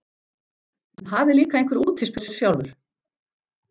En hafið líka einhver útispjót sjálfur.